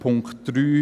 Punkt 3